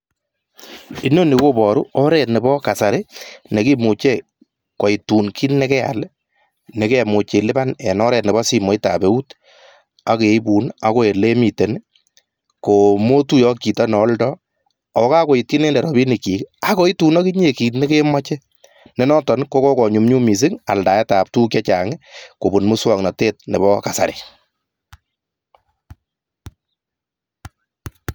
Inoni koboru oret Nebo kasari neiboru kole tos inyoru ki nekelipan eng simet ak koi tun eng oret Nebo moswoknatet ab kasari